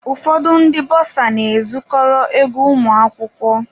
Ụfọdụ ndị bọsa na-ezukọrọ ego ụmụ akwụkwọ.